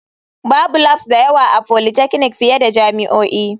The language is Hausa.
Babu labs da yawa a polytechnic fiye da jami'o'i.